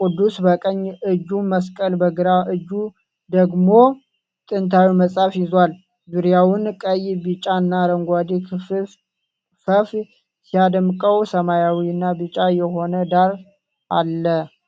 ቅዱሱ በቀኝ እጁ መስቀል በግራ እጁ ደግሞ ጥንታዊ መጽሐፍ ይዟል። ዙሪያውን ቀይ፣ ቢጫና አረንጓዴ ክፈፍ ሲያደምቀው ሰማያዊና ቢጫ የሆነ ዳራ አለ።